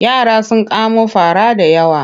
Yara sun kamo fara da yawa.